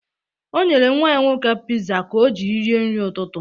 O nyere nnwa ya nwoke piza ka o jiri rie nri ụtụtụ.